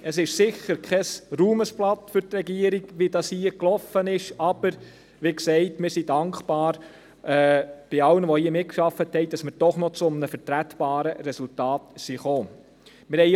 Es ist sicher kein Ruhmesblatt für die Regierung, wie es hier gelaufen ist, aber wie gesagt, wir danken allen, die hier mitgearbeitet haben, dafür, dass wir doch noch zu einem vertretbaren Resultat gekommen sind.